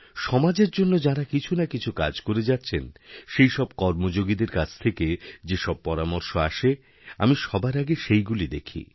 সমাজেরজন্য যাঁরা কিছু না কিছু কাজ করে যাচ্ছেন সেইসব কর্মযোগীদের কাছ থেকে যেসব পরামর্শআসে আমি সবার আগে সেইগুলি দেখি